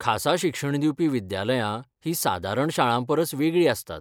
खासा शिक्षण दिवपी विद्यालयां हीं सादारण शाळांपरस वेगळीं आसतात.